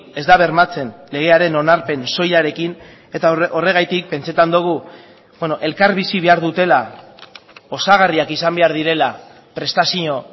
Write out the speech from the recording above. ez da bermatzen legearen onarpen soilarekin eta horregatik pentsatzen dugu elkarbizi behar dutela osagarriak izan behar direla prestazio